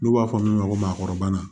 N'u b'a fɔ min ma ko maakɔrɔba